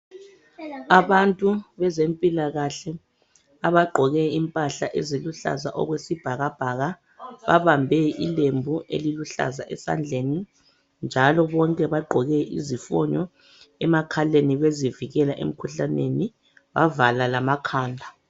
Abantu bezempilakahle abaggqoke impahla eziluhlaza okwesibhakabhaka babambe ilembu eliluhlaza esandleni njalo bonke bagqoke izifonyo emakhaleni bezivikela emikhuhlaneni bavala lamakhanda.